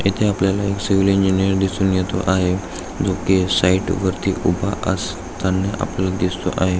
इथे आपल्याला एक सिविल इंजीनियर दिसून येत आहे जो की साइड वरती उभा असताना आपल्याला दिसतो आहे.